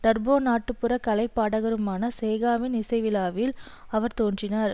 turbo நாட்டுப்பறக் கலை பாடகருமான சேகாவின் இசை விழாவில் அவர் தோன்றினார்